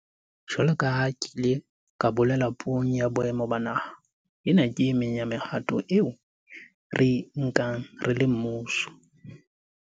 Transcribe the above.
Jwalo ka ha ke ile ka bolela Puong ya Boemo ba Naha, ena ke e meng ya mehato eo re e nkang re le mmuso